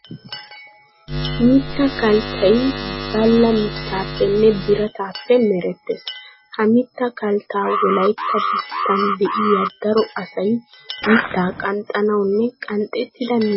Mitta Kalttay balla mittaappenne birataappe merettees. Ha mitta kalttaa wolaytta biittan de'iya daro asay mittaa qanxxanawunne qanxxettida mittaa qeranawu maadettoosona.